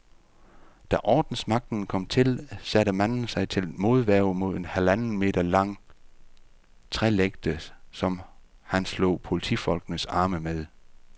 Da ordensmagten kom til, satte manden sig til modværge med en halvanden meter lang trælægte, som han slog politifolkenes arme med.